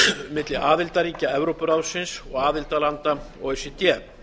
milli aðildarríkja evrópuráðsins og aðildarlanda o e c d